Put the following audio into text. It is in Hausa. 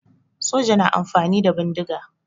Soja na amfani da bindiga